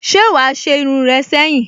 Se wa a se irun re seyin?